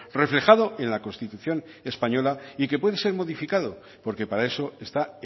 reflejado en la constitución española y que puede ser modificado porque para eso está